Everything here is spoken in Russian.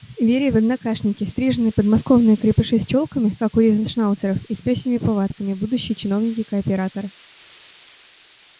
вере в однокашники стриженые подмосковные крепыши с чёлками как у ризеншнауцеров и с пёсьими повадками будущие чиновники кооператоры